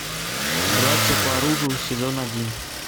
братья по оружию сезон один